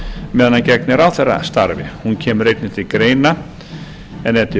meðan hann gegnir ráðherrastarfi hún kemur einnig til greina og er til